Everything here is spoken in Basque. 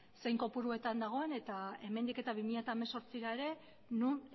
zein kopuruetan dagoen eta hemendik eta bi mila hemezortzira ere non